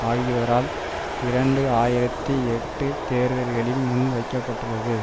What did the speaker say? ஆகியோரால் இரண்டு ஆயிரத்தி எட்டு தேர்தல்களில் முன்வைக்க பட்டுள்ளது